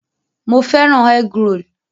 Mo fẹ́ràn egg-roll